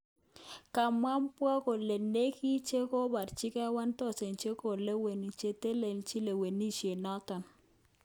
Kamwa Mbowe kole nekit chekoborchike 1,000 chekolewen chetelelchin lewenishet noton.